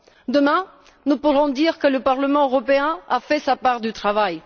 Demain, nous pourrons dire que le Parlement européen a fait sa part du travail.